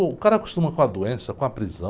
O cara acostuma com a doença, com a prisão.